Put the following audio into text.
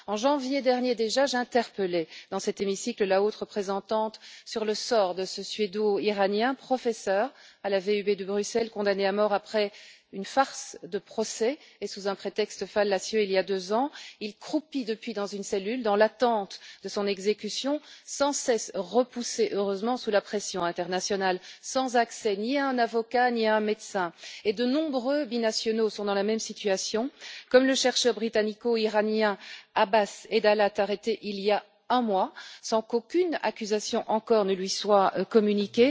En janvier dernier déjà, j'ai interpellé dans cet hémicycle la haute représentante sur le sort de ce suédo iranien, professeur à la VUB de Bruxelles, condamné à mort après une farce de procès et sous un prétexte fallacieux, il y a deux ans. Il croupit depuis dans une cellule, dans l'attente de son exécution sans cesse repoussée, heureusement, sous la pression internationale, mais sans accès ni à un avocat ni à un médecin. De nombreux binationaux sont dans la même situation, comme le chercheur britannico iranien Abbas Edalat, arrêté il y a un mois, sans qu'aucun chef d'accusation ne lui ait été communiqué.